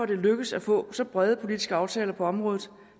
det er lykkedes at få så brede politiske aftaler på området